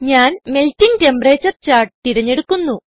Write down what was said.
ഞാൻ melting temperature chart തിരഞ്ഞെടുക്കുന്നു